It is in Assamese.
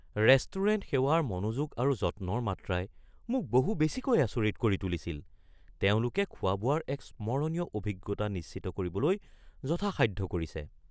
ৰেষ্টুৰেণ্ট সেৱাৰ মনোযোগ আৰু যত্নৰ মাত্ৰাই মোক বহু বেছিকৈ আচৰিত কৰি তুলিছিল; তেওঁলোকে খোৱা-বোৱাৰ এক স্মৰণীয় অভিজ্ঞতা নিশ্চিত কৰিবলৈ যথাসাধ্য কৰিছে।